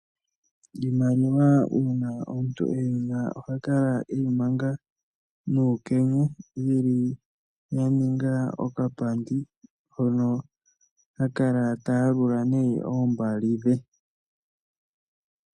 Iimaliwa uuna omuntu eyi na oha kala eyi manga nuukenya, yili ya ninga okapandi hono ha kala ta yalula nee oombali dhe.